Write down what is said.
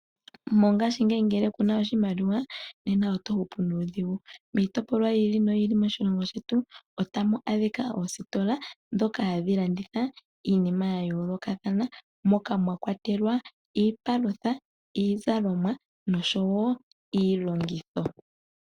Mongaashingeyi ngele kuna oshimaliwa nena oto hupu nuudhigu. Miitopolwa yi ili noyi ili moshilongo shetu otamu adhika oositola ndhoka hadhi landitha iinima ya yoolokathana moka mwa kwatelwa iipalutha, iizalomwa noshowo iilongitho.